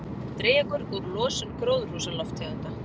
Dregur úr losun gróðurhúsalofttegunda